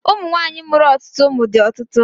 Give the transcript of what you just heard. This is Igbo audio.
Ụmụ nwaanyị mụrụ otụtụ ụmụ dị ọtụtụ.